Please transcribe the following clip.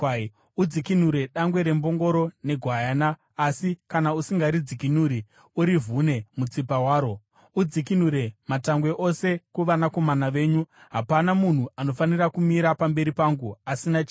Udzikinure dangwe rembongoro negwayana, asi kana usingaridzikinuri, urivhune mutsipa waro. Udzikinure matangwe ose kuvanakomana venyu. “Hapana munhu anofanira kumira pamberi pangu asina chinhu.